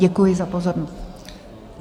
Děkuji za pozornost.